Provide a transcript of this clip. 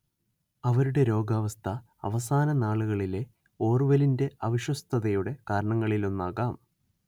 അവരുടെ രോഗാവസ്ഥ അവസാന നാളുകളിലെ ഓർവെലിന്റെ അവിശ്വസ്തതയുടെ കാരണങ്ങളിലൊന്നാകാം